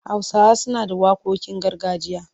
Hausawa suna da waƙoƙin gargajiya.